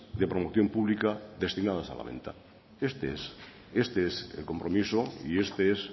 de promoción pública destinadas a la venta este es el compromiso y esto es